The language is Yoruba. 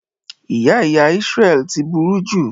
Ìyá ìyá Isreal ti buru jù.